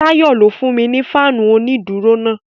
Tayọ ló fún mi ni fáànù onídùúró náà.